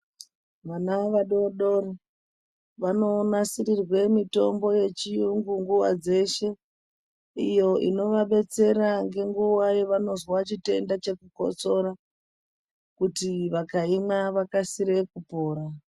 Vana vadodori vanonasirirwe mitombo yechiyungu nguwa dzeshe iyo inovabetsera ngenguwa yavanozwa chitenda chekukotsora kuti vakaimwa vakasire kupora.